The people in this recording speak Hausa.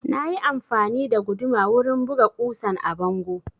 Na yi amfani da guduma wurin buga ƙusan a bango